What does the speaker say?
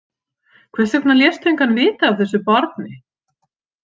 Hvers vegna léstu engan vita af þessu barni?